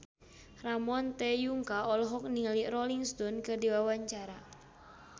Ramon T. Yungka olohok ningali Rolling Stone keur diwawancara